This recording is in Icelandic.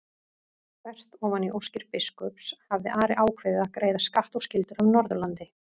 Þvert ofan í óskir biskups hafði Ari ákveðið að greiða skatt og skyldur af Norðurlandi.